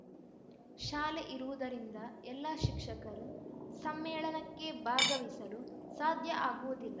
ಶಾಲೆ ಇರುವುದರಿಂದ ಎಲ್ಲ ಶಿಕ್ಷಕರು ಸಮ್ಮೇಳನಕ್ಕೆ ಭಾಗವಹಿಸಲು ಸಾಧ್ಯ ಆಗುವುದಿಲ್ಲ